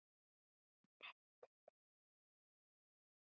einn til hinir kjósa sér.